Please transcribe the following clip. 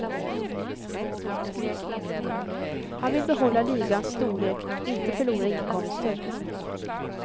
Han vill behålla ligans storlek inte förlora inkomster.